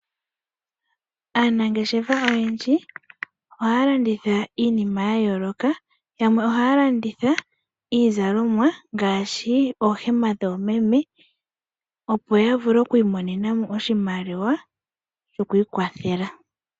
Aanangeshefa oyendji ohaya landitha iinima ya yooloka, yamwe ohaya landitha iizalomwa ngaashi ooh email dhoomeme opo ya vule oku monamo oshimaliwa shokwiikwathela.